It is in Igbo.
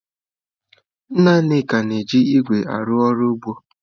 Nna Nneka na-eji ígwè arụ ọrụ ugbo.